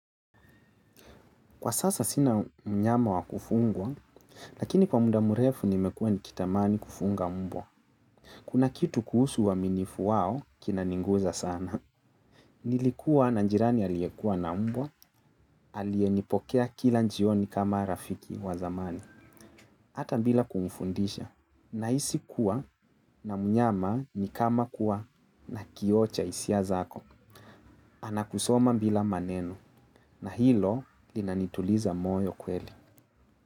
Kwa sasa sina mnyama wa kufugwa, lakini kwa munda mrefu nimekuwa nikitamani kufuga mbwa. Kuna kitu kuhusu uaminifu wao, kinaniguza sana. Nilikuwa na jirani aliyekuwa na mbwa, alieyenipokea kila jioni kama rafiki wa zamani. Hata bila kumfundisha. Nahisi kuwa na mnyama ni kama kuwa na kio cha hisia zako. Anakusoma bila maneno. Na hilo, linanituliza moyo kweli.